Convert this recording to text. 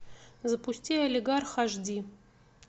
запусти олигарх аш ди